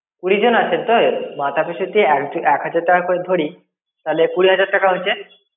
কুড়ি জন আছেন তো, মাথাপিছু তে এক এক হাজার টাকা করে ধরি, তাহলে কুড়ি হাজার টাকা হচ্ছে।